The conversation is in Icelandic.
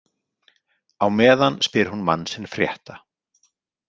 Á meðan spyr hún mann sinn frétta.